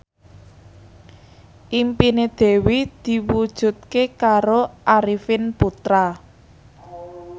impine Dewi diwujudke karo Arifin Putra